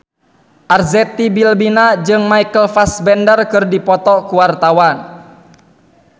Arzetti Bilbina jeung Michael Fassbender keur dipoto ku wartawan